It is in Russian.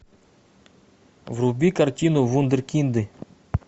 вруби картину вундеркинды